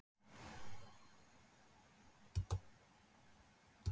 Stefán Páll: Gaman að koma hingað í svona veður?